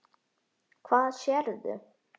Hvað sérðu?